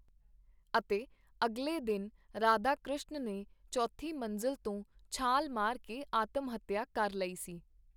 ਅਤੇ ਅਗਲੇ ਦਿਨ ਰਾਧਾਕ੍ਰਿਸ਼ਨ ਨੇ ਚੌਥੀ ਮੰਜ਼ਲ ਤੋਂ ਛਾਲ ਮਾਰ ਕੇ ਆਤਮ-ਹੱਤਿਆ ਕਰ ਲਈ ਸੀ.